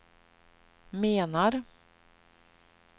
menar